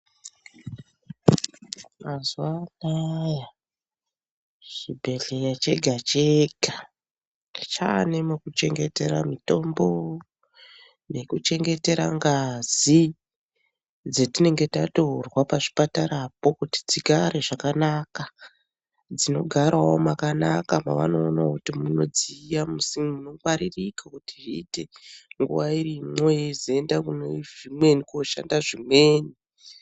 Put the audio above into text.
Mazuwanaya chibhedhlera chega chega chanemokuchengetera mitombo, nekuchengetera ngazi dzetinenge tatorwa pachipatarapo kuti dzigare zvakanaka, dzinogarawo makanaka mavanoona kuti munodziya munongwaririka zviite nguwa irimo yozoenda kunezvimweni koshanda zvimweni.